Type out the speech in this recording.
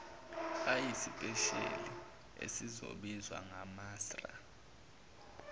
ayisipesheli esezizobizwa ngamasra